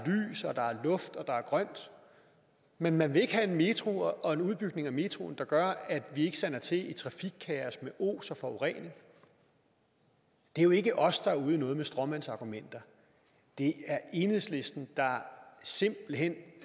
grønt men man vil ikke have en metro og en udbygning af metroen der gør at vi ikke sander til i trafikkaos med os og forurening det er jo ikke os der er ude i noget med stråmandsargumenter det er enhedslisten der simpelt hen